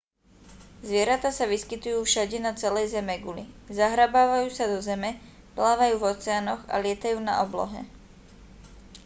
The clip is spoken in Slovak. zvieratá sa vyskytujú všade na celej zemeguli zahrabávajú sa do zeme plávajú v oceánoch a lietajú na oblohe